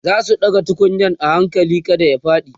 zasu ɗaga tukunyar a hakali kada ya faɗi